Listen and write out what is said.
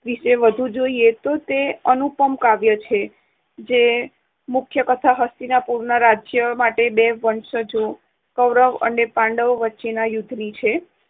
વિષે વધુ જોઈએ તો તે અનુપમ કાવ્ય છે. મુખ્ય કથા હસ્તિનાપુરના રાજ્ય માટે બે વંશજો કૌરવ અને પાંડવો વચ્ચેના યુદ્ધની છે.